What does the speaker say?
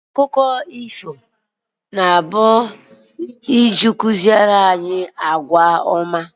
Akụkọ ifo na abụkari iji ịkụziri anyị àgwà ọma